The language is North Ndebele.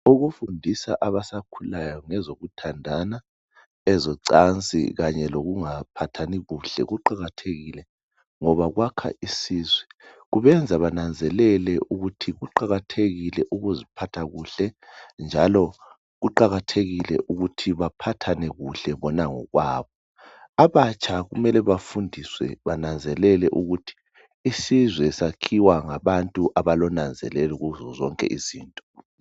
Ukufundisa abasakhulayo ngezokuthandana ezocansi kanye lokungaphathani kuhle kuqakathekile ngoba kwakha isizwe kubenza benanzelele ukuthi kuqakathekile ukuziphatha kuhle njalo kuqakathekile ukuthi baphathane kuhle bona ngokwabo abatsha kumele bafundiswe bananzelele ukuthi isizwe sakhiwa ngabantu abalonanzelelo kuzo zonke izinto.